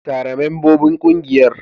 Tara membobin kungiyar.